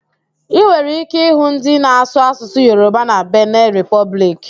Ị nwere íké ịhụ ndị na-asụ Asụsụ Yoroba na Bene Repọblik